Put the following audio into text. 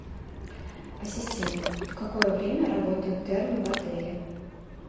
ассистент в какое время работают термы в отеле